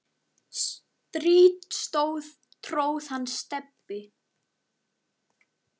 strý tróð hann Stebbi